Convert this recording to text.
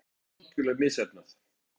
Þetta var algerlega misheppnað.